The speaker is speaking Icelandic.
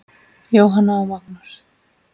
Jóhanna og Magnús.